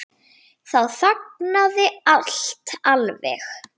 Þá þagnaði allt alveg.